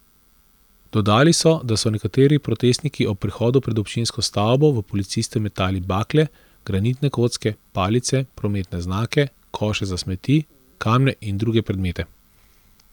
Dodali so, da so nekateri protestniki ob prihodu pred občinsko stavbo v policiste metali bakle, granitne kocke, palice, prometne znake, koše za smeti, kamne in druge predmete.